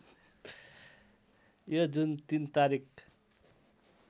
यो जुन ३ तारिक